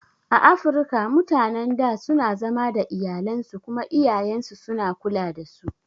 A Afirika mutanan da suna zama da iyalansu kuma iyayansu suna kula dasu